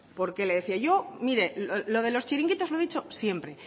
por qué le decía yo mire lo de los chiringuitos lo he dicho siempre